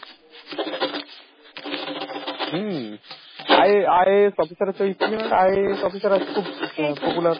hmm, I~ IAS officer হচ্ছে IAS officer খুব